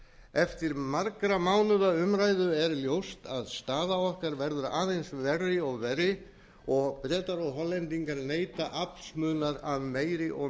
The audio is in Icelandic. eftir margra mánaða umræðu er ljóst að staða okkar verður aðeins verri og verri og bretar og hollendingar neyta aflsmunar af meiri og